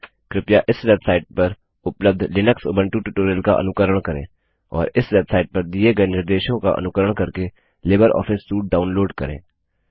कृपया इस वेबसाइट पर उपलब्ध लिनक्स उबंटु ट्यूटोरियल का अनुकरण करें और इस वेब साइट पर दिए गए निर्देशों का अनुकरण करके लिबर ऑफिस सूट डाउनलोड करें